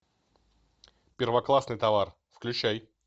первоклассный товар включай